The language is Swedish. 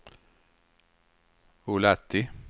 Ullatti